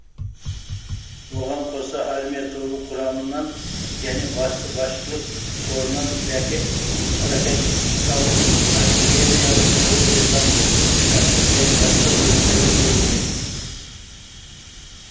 оған коса армия тобы құрамынан және басты басшылық корынан ракеталық артиллериялық әуе десанттық тік ұшақтық және басқа бөлімдері берілген